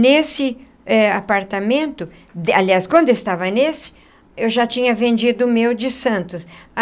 Nesse eh apartamento, aliás, quando eu estava nesse, eu já tinha vendido o meu de Santos.